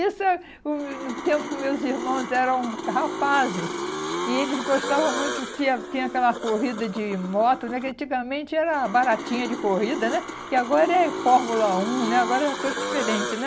Isso hum no tempo que meus irmãos eram rapazes e eles gostavam muito, tinha tinha aquela corrida de moto, né, que antigamente era baratinha de corrida, né, que agora é Fórmula um, né, agora é tudo diferente, né.